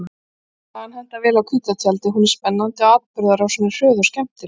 Sagan hentar vel á hvíta tjaldið, hún er spennandi og atburðarásin er hröð og skemmtileg.